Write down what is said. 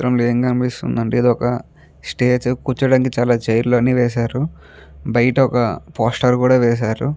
చిత్రం లో ఎం కనిపిస్తుంది అంటే ఇది ఒక స్టేజి కూర్చోడానికి చాల చైర్ లు అన్నీ వేసారు బయట ఒక పోస్టర్ కూడా వేసారు.